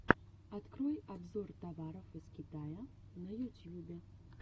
открой обзор товаров из китая на ютьюбе